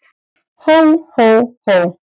Hó, hó, hó!